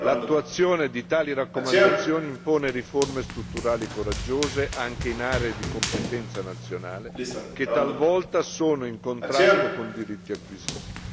L'attuazione di tali raccomandazioni impone riforme strutturali coraggiose, anche in aree di competenza nazionale, che talvolta sono in contrasto con diritti acquisiti.